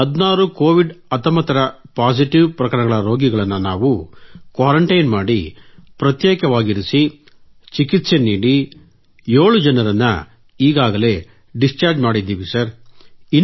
ಈ 16 ಕೋವಿಡ್ 19 ರ ಪಾಸಿಟಿವ್ ಪ್ರಕರಣಗಳ ರೋಗಿಗಳನ್ನು ನಾವು ಕ್ವಾರೆಂಟೈನ್ ಮಾಡಿ ಪ್ರತ್ಯೇಕವಾಗಿರಿಸಿ ಚಿಕಿತ್ಸೆ ನೀಡಿ 7 ಜನರನ್ನು ಈಗಾಗಲೇ ಡಿಸ್ಚಾರ್ಜ್ ಮಾಡಿದ್ದೀವಿ ಸರ್